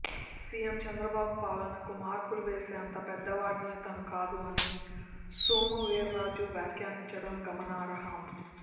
CM Chandrababu పాలనకు మార్కులు వేసేంత పెద్దవాడిని తాను కాదని సోము వీర్రాజు వ్యాఖ్యానించడం గమనార్హం